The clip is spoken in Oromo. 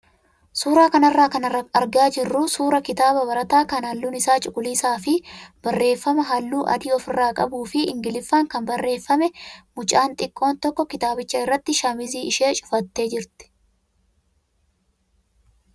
Suuraa kanarraa kan argaa jirru suuraa kitaaba barataa kan halluun isaa cuquliisaa fi barreeffama halluu adii ofirraa qabuu fi ingiliffaan kan barreeffame mucaan xiqqoon tokko kitaabicha irratti shaamizii ishee cufattee jirti.